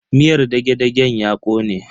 Miyar dage-dagen ya kone.